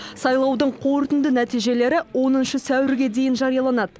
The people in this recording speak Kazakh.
сайлаудың қорытынды нәтижелері оныншы сәуірге дейін жарияланады